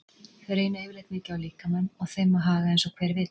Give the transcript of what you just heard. Þeir reyna yfirleitt mikið á líkamann og þeim má haga eins og hver vill.